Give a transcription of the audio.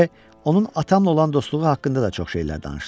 B onun atamla olan dostluğu haqqında da çox şeylər danışdı.